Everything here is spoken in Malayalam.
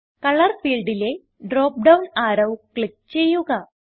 കളർ ഫീൽഡിലെ ഡ്രോപ്പ് ഡൌൺ arrowക്ലിക്ക് ചെയ്യുക